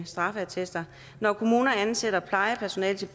straffeattester når kommuner ansætter plejepersonale til